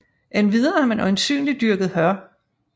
Endvidere har man øjensynligt dyrket hør